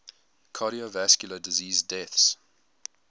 cardiovascular disease deaths